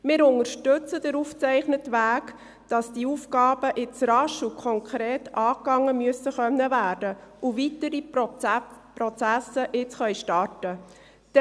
Wir unterstützen den aufgezeichneten Weg, damit die Aufgaben jetzt rasch und konkret angegangen werden und weitere Prozesse starten können.